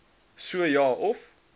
so ja of